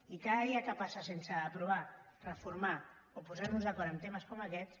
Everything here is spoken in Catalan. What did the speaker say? i cada dia que passa sense aprovar reformar o posar nos d’acord en temes com aquests